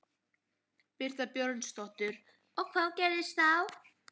Birta Björnsdóttir: Og hvað gerist þá?